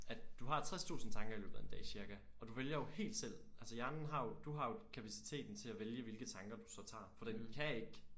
At du har 60 tusind tanker i løbet af en dag cirka og du vælger jo helt selv altså hjernen har jo du har jo kapaciteten til at vælge hvilket tanker du så tager for den kan ikke